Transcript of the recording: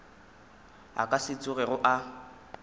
a ka se tsogego a